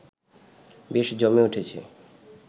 বেশ জমে উঠেছে